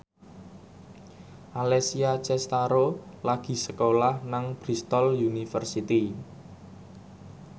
Alessia Cestaro lagi sekolah nang Bristol university